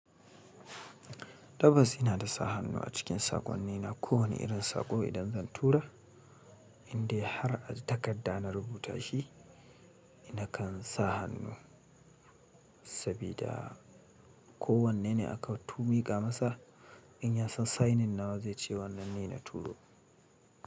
Tabbas ina da sa hannu a cikin saƙonni na kowane irin saƙo idan zan tura, inde har a takarda na rubuta shi, ina kan sa hannu sabida kowanne ne aka tumi ga masa. In ya san signin nawa zai ce wannan ne na turo.